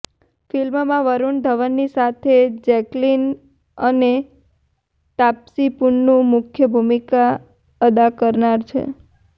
ફિલ્મમાં વરૃણ ધવનની સાથે જેક્લીન અને તાપ્સી પન્નુ મુખ્ય ભૂમિકા અદા કરનાર છે